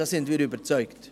Davon sind wir überzeugt.